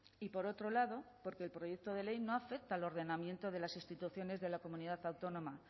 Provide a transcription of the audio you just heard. y por otro lado porque el proyecto de ley no afecta al ordenamiento de las instituciones de la comunidad autónoma